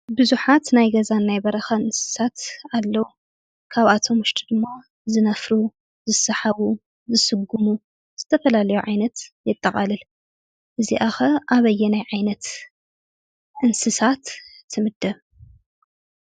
ቡዙሓት ናይ ገዛን ናይ በረኻን እንስሳት ኣለው፡፡ ካብአቶም ውሽጢ ድማ ዝነፍሩ፣ ዝሰሓቡ፣ ዝስጉሙ ዝተፈላለዩ ዓይነት የጠቃልል፡፡ እዚኣ ኸ ኣበየናይ ዓይነት እንስሳት ትምደብ?